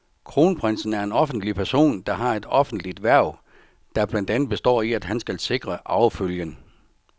Kronprinsen er en offentlig person, der har et offentligt hverv, der blandt andet består i, at han skal sikre arvefølgen.